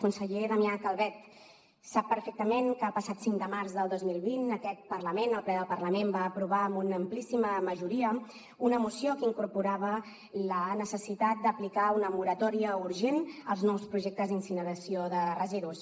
conseller damià calvet sap perfectament que el passat cinc de març del dos mil vint aquest parlament el ple del parlament va aprovar amb una amplíssima majoria una moció que incorporava la necessitat d’aplicar una moratòria urgent als nous projectes d’incineració de residus